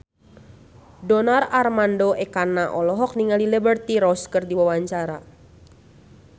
Donar Armando Ekana olohok ningali Liberty Ross keur diwawancara